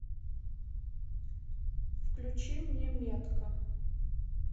включи мне метка